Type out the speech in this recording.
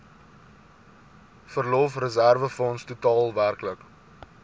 verlofreserwefonds totaal werklik